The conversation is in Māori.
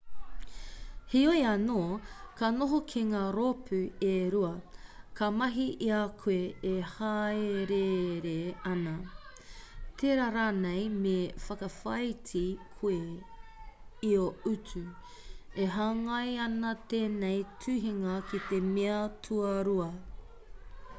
heoi anō ka noho ki ngā rōpū e rua ka mahi i a koe e hāereere ana tērā rānei me whakawhāiti koe i ō utu e hāngai ana tēnei tuhinga ki te mea tuarua